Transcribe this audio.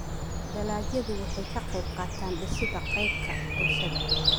Dalagyadu waxay ka qaybqaataan dhisidda kaydka bulshada.